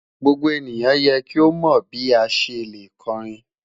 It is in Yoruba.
Gbogbo eniyan yẹ ki o mọ bi a ṣe le kọrin